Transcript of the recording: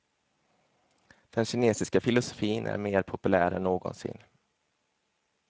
Den kinesiska filosofin är mer populär än någonsin.